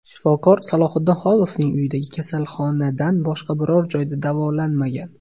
Shifokor Salohiddin Xolovning uyidagi kasalxonadan boshqa biror joyda davolanmagan.